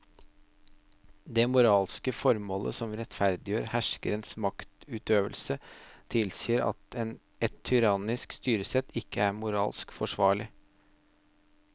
Det moralske formålet som rettferdiggjør herskerens maktutøvelse tilsier at et tyrannisk styresett ikke er moralsk forsvarlig.